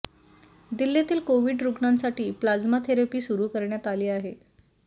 दिल्लीतील कोविड रुग्णांसाठी plasma therapy सुरू करण्यात आली आहे